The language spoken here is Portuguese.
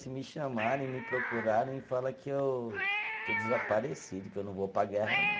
Se me chamarem, me procurarem, fala que eu estou desaparecido, que eu não vou para a guerra, não.